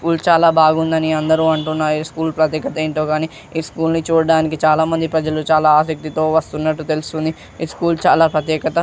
School చాలా బాగుందని అందరూ అంటున్నారు. ఈ స్కూల్ ప్రత్యేకత ఏంటో గానీ ఈ స్కూల్ ని చూడడానికి చాలామంది ప్రజలు చాలా ఆసక్తితో వస్తున్నట్లు తెలుస్తోంది. ఈ స్కూల్ చాలా ప్రత్యేకత.